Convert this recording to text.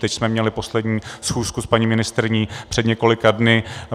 Teď jsme měli poslední schůzku s paní ministryní před několika dny.